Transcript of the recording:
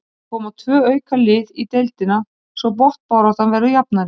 Það koma tvö auka lið í deildina svo botnbaráttan verður jafnari.